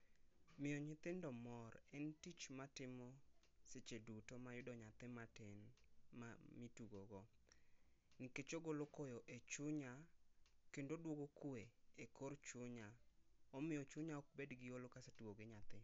Miyo nyithindo mor en tich ma atimo seche duto ma ayudo nyathi ma tin mi tugo go nikech ogolo koyo e chunya kendo odwogo kwe e kor chunya omiyo chunya ok bed gi holo ka asetugo gi nyithindo